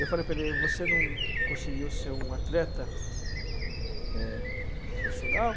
Eu falei para ele, você não conseguiu ser um atleta, né, profissional?